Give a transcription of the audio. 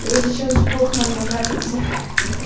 я сейчас сдохну мне кажется